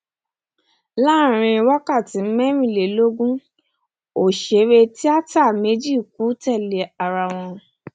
láàrin wákàtí mẹrìnlélógún òṣèré tíátà méjì kù tẹlé ara wọn